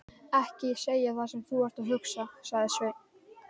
Ekki segja það sem þú ert að hugsa, sagði Sveinn.